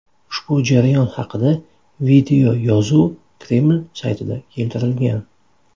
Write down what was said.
Ushbu jarayon haqida videoyozuv Kreml saytida keltirilgan.